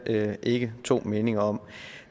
ikke to meninger om